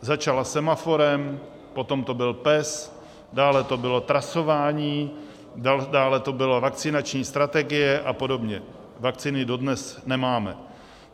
Začala Semaforem, potom to byl PES, dále to bylo trasování, dále to byla vakcinační strategie a podobně, vakcíny dodnes nemáme.